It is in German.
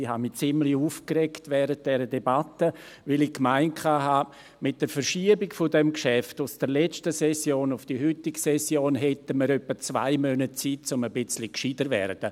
Ich hatte mich während dieser Debatte ziemlich aufgeregt, weil ich dachte, dass wir mit der Verschiebung des Geschäfts von der letzten in die heutige Session etwa zwei Monate Zeit hätten, etwas klüger zu werden.